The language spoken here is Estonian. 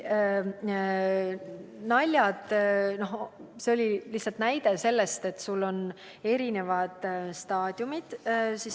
No see oli lihtsalt näide sellest, et on erinevad staadiumid.